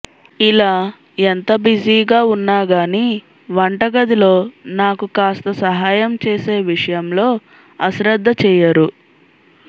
ఇలా ఎంత బిజీగా ఉన్నాగానీ వంటగదిలో నాకు కాస్త సహాయం చేసే విషయంలో అశ్రద్ధ చేయరు